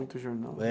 Muito jornal.